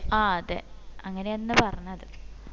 ആ അതെ അങ്ങനെ അന്നാ പറഞ്ഞത്